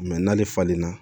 n'ale falenna